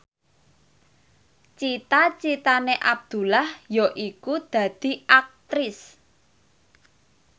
cita citane Abdullah yaiku dadi Aktris